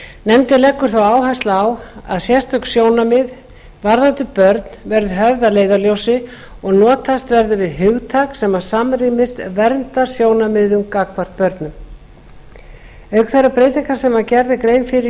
nefndin leggur þó áherslu á að sérstök sjónarmið varðandi börn verði höfð að leiðarljósi og notast verði við hugtak sem samrýmist verndarsjónarmiðum gagnvart börnum auk þeirrar breytingar sem gerð er grein fyrir